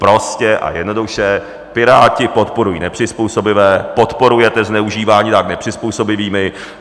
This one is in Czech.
Prostě a jednoduše Piráti podporují nepřizpůsobivé, podporujete zneužívání dávek nepřizpůsobivými.